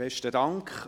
Besten Dank.